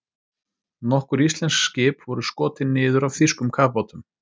Nokkur íslensk skip voru skotin niður af þýskum kafbátum.